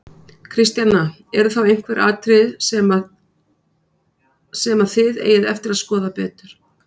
Kristjana: Eru þá einhver atriði sem að, sem að þið eigið eftir að skoða betur?